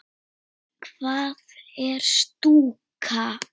Hvað er stúka?